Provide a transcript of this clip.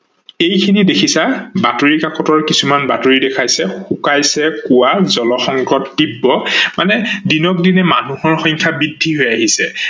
এইখিনি দেখিছা বাতৰি কাকতৰ কিছুমান বাতৰি দেখাইছে শুকাইয়ে কোৱা জল সংকট তীব্ৰ মানে দিনে দিনে মানুহৰ সংখ্যা বৃদ্ধি হৈ আহিছে।